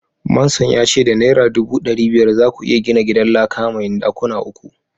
manson ya ce da naira dubu dari biyar za ku iya gina gidan laka mai dakuna uku.